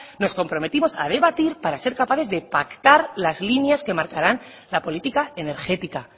nos comprometimos a debatir para ser capaces de pactar las líneas que marcarán la política energética